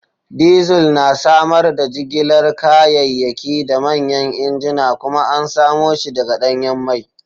Diesel na samar da jigilar kayayyaki da manyan injuna kuma an samo shi daga danyen mai.